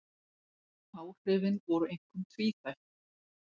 Áhrifin voru einkum tvíþætt